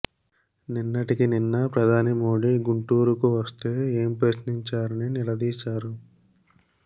నిన్నటికి నిన్న ప్రధాని మోడీ గుంటూరుకు వస్తే ఏం ప్రశ్నించారని నిలదీశారు